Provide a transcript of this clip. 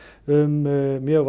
um mjög